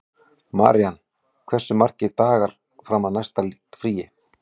Marían, hversu margir dagar fram að næsta fríi?